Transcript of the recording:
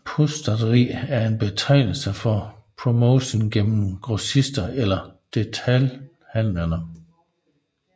Pushstrategi er en betegnelse for promotion gennem grossister eller detailhandlere